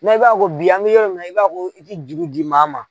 i b'a fo bi an bi yɔrɔ min na i b'a ko i te jugu di maa ma